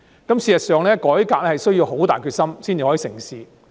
事實上，改革需要很大決心才能成事。